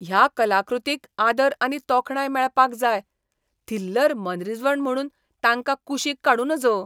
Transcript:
ह्या कलाकृतींक आदर आनी तोखणाय मेळपाक जाय, थिल्लर मनरिजवण म्हुणून तांकां कुशीक काडूं नज.